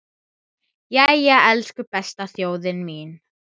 Doddi játti því.